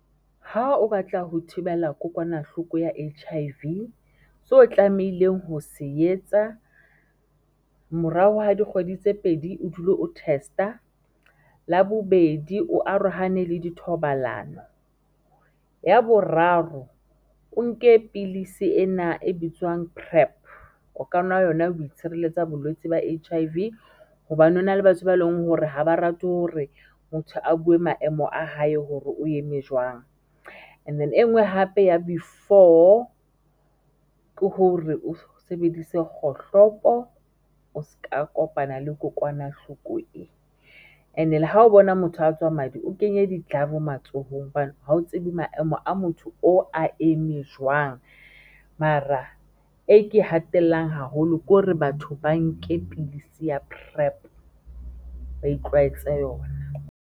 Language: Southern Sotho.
Ha o batla ho thibela kokwanahloko ya H_I_V so tlamehileng ho se etsa morao hwa dikgwedi tse pedi o dule o test-a la bobedi, o arohane le dithobalano ya boraro, o nke Pilisi ena e bitswang PrEP o ka nwa yona ho itshirelletsa bolwetsi ba H_I_V hobane hona le batho ba leng hore ha ba rate hore motho a buwe maemo a hae hore o eme jwang and-e e engwe hape ya bo i-four, ke hore o sebedise kgohlopo o ska kopana le kokwanahloko e and-e le ha o bona motho a tswa madi o kenye di-glove matsohong hobane ha o tsebe maemo a motho o a eme jwang Mara e ke hatellang haholo ke hore batho ba nke pidisi ya PrEP ba itlwaetsa yona.